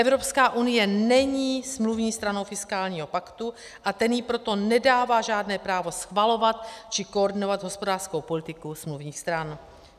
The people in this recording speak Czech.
Evropská unie není smluvní stranou fiskálního paktu, a ten jí proto nedává žádné právo schvalovat či koordinovat hospodářskou politiku smluvních stran.